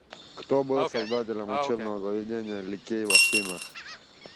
кто был создателем учебного заведения ликей в афинах